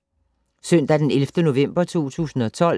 Søndag d. 11. november 2012